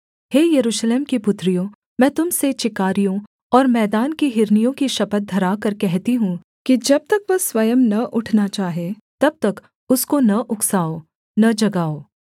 हे यरूशलेम की पुत्रियों मैं तुम से चिकारियों और मैदान की हिरनियों की शपथ धराकर कहती हूँ कि जब तक वह स्वयं न उठना चाहे तब तक उसको न उकसाओं न जगाओ